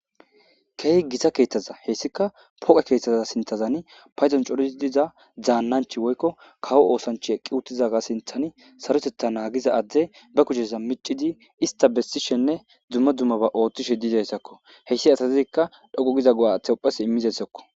Keehi gita keeththaza hessikka pooqe keeththaza sinththan paydon coridi diza daannanchchi woykko kawo oosanchchay eqqi uttidaga sinththan saroteththa naagiza addey be kusheza miccidi ista bessishenne dumma dummaba ooththishe dizayssako. Heyssi asazikka dhoqqu giza go'a aaththi ubbas immizayssakko.